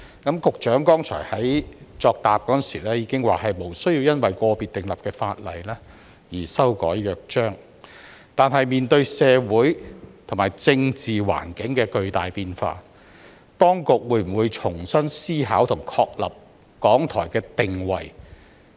局長剛才亦在其答覆中表示，無需因個別新訂立的法例而修改《約章》，但面對社會及政治環境的巨大變化，當局會否重新思考和確立港台的定位？